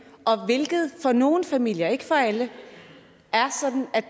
hvilket for nogle familier ikke for alle